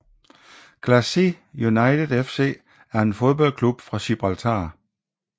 Glacis United FC er en fodboldklub fra Gibraltar